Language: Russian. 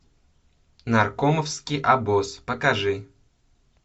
наркомовский обоз покажи